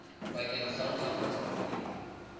bakeng sa ho ntlafatsa boleng